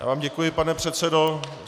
Já vám děkuji, pane předsedo.